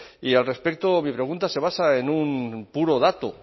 y al respecto mi pregunta se basa en un puro dato